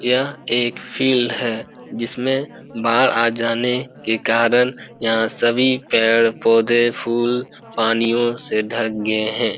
यह एक फील्ड है जिसमे बाढ़ आ जाने के कारण यहां सभी पेड़-पौधे फूल पानियों से ढक गए है।